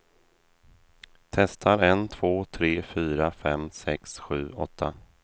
Testar en två tre fyra fem sex sju åtta.